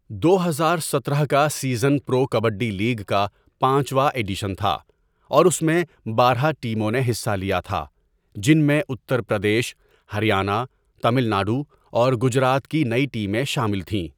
دو ہزار ستارہ کا سیزن پرو کبڈی لیگ کا پانچواں ایڈیشن تھا، اور اس میں بارہ ٹیموں نے حصہ لیا تھا، جن میں اتر پردیش، ہریانہ، تامل ناڈو اور گجرات کی نئی ٹیمیں شامل تھیں۔